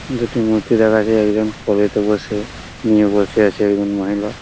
দুটি মূর্তি দেখাছে একজন কলেতে বসে নিয়ে বসে আছে একজন মহিলা।